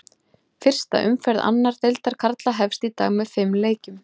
Fyrsta umferð annar deildar karla hefst í dag með fimm leikjum.